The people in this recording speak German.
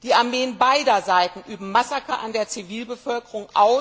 Die Armeen beider Seiten verüben Massaker an der Zivilbevölkerung.